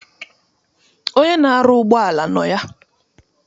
Onye na-arụ ụgbọala nọ ya.